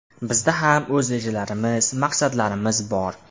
Bizda ham o‘z rejalarimiz, maqsadlarimiz bor.